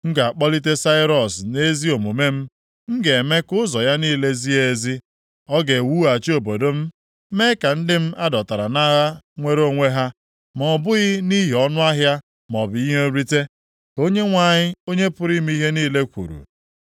M ga-akpọlite Sairọs nʼezi omume m: M ga-eme ka ụzọ ya niile zie ezi. Ọ ga-ewughachi obodo m, mee ka ndị m a dọtara nʼagha nwere onwe ha, ma ọ bụghị nʼihi ọnụahịa maọbụ ihe nrite, ka Onyenwe anyị, Onye pụrụ ime ihe niile kwuru.”